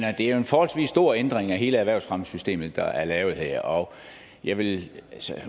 er jo en forholdsvis stor ændring af hele erhvervsfremmesystemet der er lavet her og jeg vil